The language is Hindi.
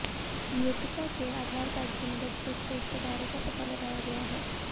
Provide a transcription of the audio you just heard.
मृतका के आधार कार्ड की मदद से उसके रिश्तेदारों का पता लगाया गया है